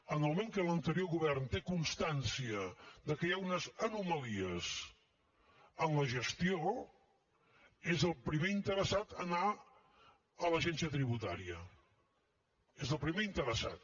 en el moment que l’anterior govern té constància que hi ha unes anomalies en la gestió és el primer interessat a anar a l’agència tributària és el primer interessat